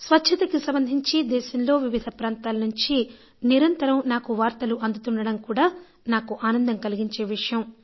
స్వచ్ఛతకి సంబంధించి దేశంలో వివిధ ప్రాంతాల నుంచి నిరంతరం నాకు వార్తలు అందుతుండడం కూడా నాకు ఆనందం కలిగించే విషయం